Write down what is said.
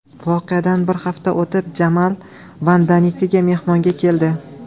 Voqeadan bir hafta o‘tib, Jamal Vandanikiga mehmonga keldi.